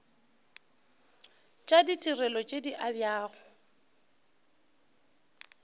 tša ditirelo tše di abjago